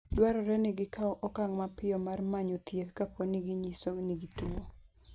Dwarore ni gikaw okang' mapiyo mar manyo thieth kapo ni ginyiso ni gituwo.